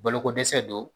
Balokodɛsɛ don